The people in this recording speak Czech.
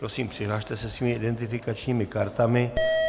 Prosím, přihlaste se svými identifikačními kartami.